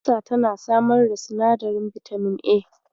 Albasa tana samar da sinadarin bitamin A.